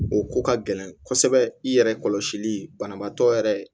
O ko ka gɛlɛn kosɛbɛ i yɛrɛ kɔlɔsili banabaatɔ yɛrɛ